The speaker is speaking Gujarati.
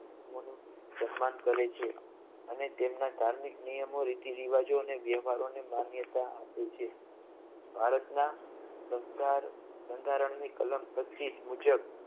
ધર્મનું સન્માન કરે છે અને તેમના ધાર્મિક નિયમો રીતિ રિવાજો અને વ્યવહારોની માન્યતા આપે છે ભારતના બંધા બંધારણની કલમ પચીશ મુજબ